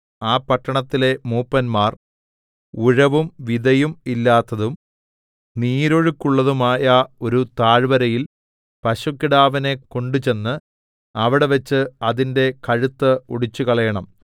ആ പട്ടണത്തിലെ മൂപ്പന്മാർ ഉഴവും വിതയും ഇല്ലാത്തതും നീരൊഴുക്കുള്ളതുമായ ഒരു താഴ്വരയിൽ പശുക്കിടാവിനെ കൊണ്ടുചെന്ന് അവിടെവെച്ച് അതിന്റെ കഴുത്ത് ഒടിച്ചുകളയണം